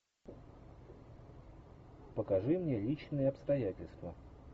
покажи мне личные обстоятельства